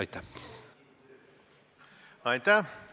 Aitäh!